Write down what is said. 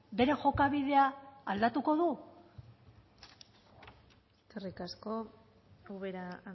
bere jokabidea aldatuko du eskerrik asko ubera